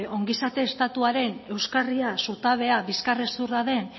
ongizate estatuaren euskarria zutabea bizkar hezurra den